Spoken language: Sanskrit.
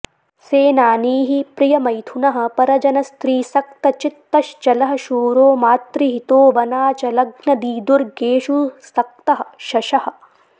सेनानीः प्रियमैथुनः परजनस्त्रीसक्तचित्तश्चलः शूरो मातृहितो वनाचलग्नदीदुर्गेषु सक्तः शशः